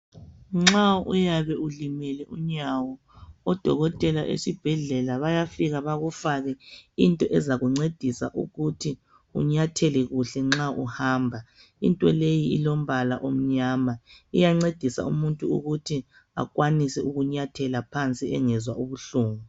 Nxa uyabe ulimele unyawo, odokotela esibhedlela bayafika bakufake into ezakuncedisa ukuthi unyathele kuhle nxa uhamba, into leyi ilombala omnyama, iyancedisa umuntu ukuthi akwanise ukunyathela phansi engezwa ubuhlungu.